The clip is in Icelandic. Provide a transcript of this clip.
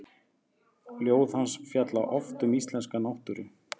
Ljóð hans fjalla oft um íslenska náttúru.